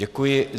Děkuji.